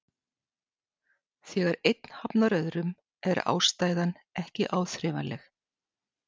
Þegar einn hafnar öðrum er ástæðan ekki áþreifanleg.